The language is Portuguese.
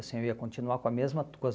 Assim eu ia continuar com a mesma com as